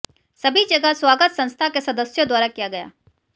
सभी जगह स्वागत संस्था के सदस्यों द्वारा किया गया